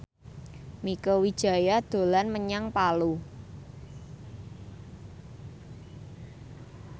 Mieke Wijaya dolan menyang Palu